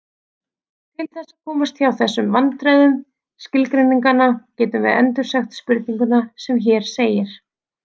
Til þess að komast hjá þessum vandræðum skilgreininganna getum við endursagt spurninguna sem hér segir: